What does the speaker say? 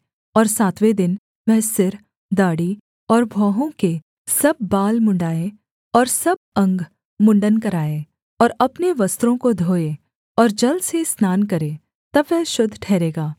और सातवें दिन वह सिर दाढ़ी और भौहों के सब बाल मुँण्ड़ाएँ और सब अंग मुँण्ड़न कराए और अपने वस्त्रों को धोए और जल से स्नान करे तब वह शुद्ध ठहरेगा